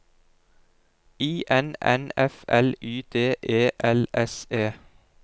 I N N F L Y D E L S E